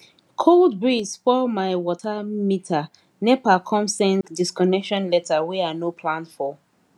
cold breeze spoil my water meter nepa come send disconnection letter wey i no plan for